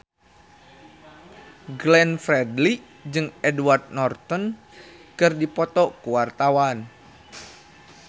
Glenn Fredly jeung Edward Norton keur dipoto ku wartawan